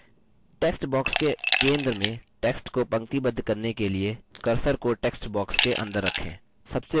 text box के centre में text को पंक्तिबद्ध करने के लिए cursor को text box के अंदर रखें